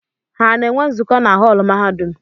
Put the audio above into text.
Ha na-enwe nzukọ na họọlụ mahadum?